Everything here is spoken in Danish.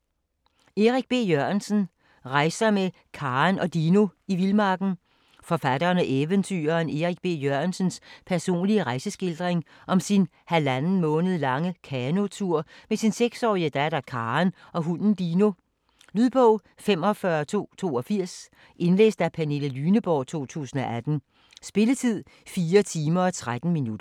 Jørgensen, Erik B.: Rejser med Karen og Dino i vildmarken Forfatteren og eventyreren Erik B. Jørgensens personlige rejeskildring om sin halvanden måned lange kanotur med sin 6-årige datter Karen og hunden Dino. Lydbog 45282 Indlæst af Pernille Lyneborg, 2018. Spilletid: 4 timer, 13 minutter.